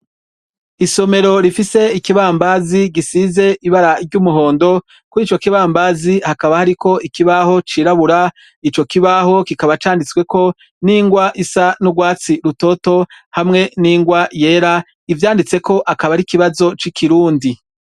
Isomero rifise ikibambazi gisize ibara ry'umuhondo kurico kibambazi hakaba hariko ikibaho cirabura icokibaho kikaba canditsweko n'ingwa isa n'ugwatsi rutoto hamwe n'ingwa yera. Ivyanditseko kikaba ar'ikibazo c'ikirundi.